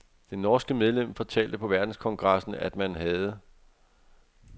Det norske medlem fortalte på verdenskongressen, at man havde